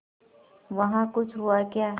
वहाँ कुछ हुआ क्या